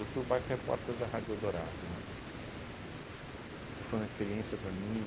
Eu fui o bike repórter da Rádio Eldorado, né, que foi uma experiência para mim